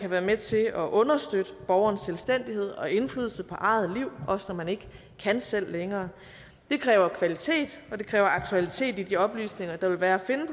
være med til at understøtte borgernes selvstændighed og indflydelse på eget liv også når man ikke kan selv længere kræver kvalitet og aktualitet i de oplysninger der vil være at finde